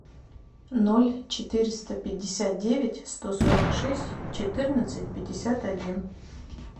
ноль четыреста пятьдесят девять сто сорок шесть четырнадцать пятьдесят один